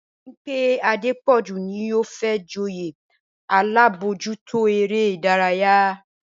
Bímpé Adépọ̀jù ni yóò fẹ́ joyè alábòójútó eré ìdárayá